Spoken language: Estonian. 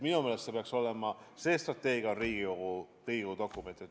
Minu meelest see peaks olema, see on Riigikogu dokument.